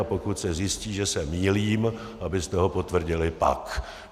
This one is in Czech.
A pokud se zjistí, že se mýlím, abyste ho potvrdili pak.